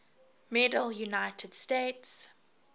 medal united states